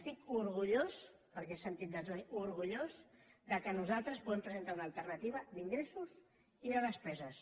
estic orgullós perquè he sentit de tot orgullós que nosaltres puguem presentar una alternativa d’ingressos i de despeses